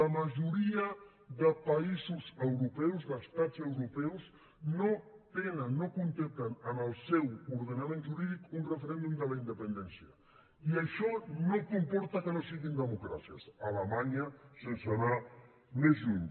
la majoria de països europeus d’estats europeus no tenen no contemplen en el seu ordenament jurídic un referèndum de la independència i això no comporta que no siguin democràcies alemanya sense anar més lluny